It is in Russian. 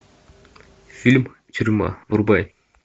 фильм тюрьма врубай